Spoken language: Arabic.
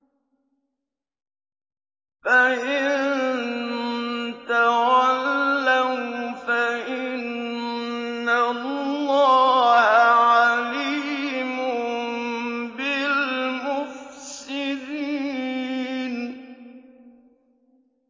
فَإِن تَوَلَّوْا فَإِنَّ اللَّهَ عَلِيمٌ بِالْمُفْسِدِينَ